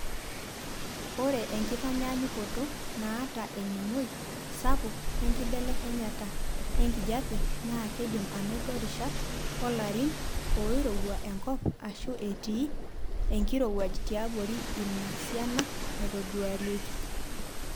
Ore enkitanyaanyukoto naata eningoi sapuk enkibelekenyata enkijiepe naa keidim anoto rishat oolarin oirowua enkop aashu etii enkirowuaj tiabori ina siana naitoduarieki.